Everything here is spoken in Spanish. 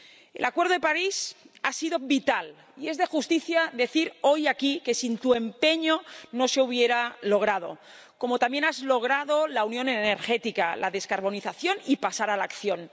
El Acuerdo de París ha sido vital y es de justicia decir hoy aquí que sin tu empeño no se hubiera logrado, como también has logrado la unión energética, la descarbonización y pasar a la acción.